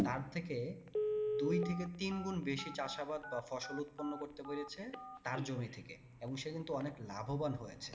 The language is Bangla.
তার থেকে দুই থেকে তিন গুন বেশি চাষাবাদ বা ফসল উৎপন্ন করতে পেরেছে তার জমি থেকে এবং সে কিন্তু অনেক লাভোবান হয়েছে।